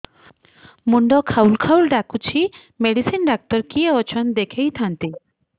ମୁଣ୍ଡ ଖାଉଲ୍ ଖାଉଲ୍ ଡାକୁଚି ମେଡିସିନ ଡାକ୍ତର କିଏ ଅଛନ୍ ଦେଖେଇ ଥାନ୍ତି